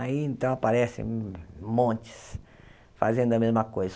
Aí, então, aparecem montes fazendo a mesma coisa.